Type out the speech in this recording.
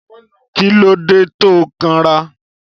Kílódé to kan rà.?